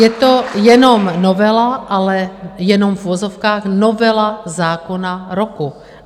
Je to jenom novela, ale jenom - v uvozovkách - novela zákona roku.